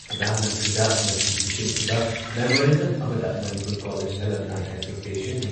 ꯄ꯭ꯔꯙꯥꯥꯟ ꯃꯟꯇ꯭ꯔꯤꯗ ꯉꯁꯤ ꯄꯤꯁꯤꯟꯈꯤꯕ ꯃꯦꯃꯣꯔꯦꯟꯗꯝ ꯑꯃꯗ ꯃꯅꯤꯄꯨꯔ ꯀꯣꯂꯦꯖ ꯑꯦꯂꯨꯝꯅꯥꯏ ꯑꯦꯁꯣꯁꯤꯌꯦꯁꯟꯒꯤ